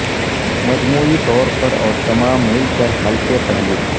مجموعی طور پر اور تمام مل کر ہلکے پہلو